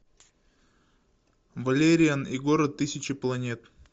валериан и город тысячи планет